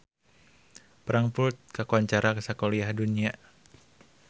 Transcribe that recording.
Frankfurt kakoncara sakuliah dunya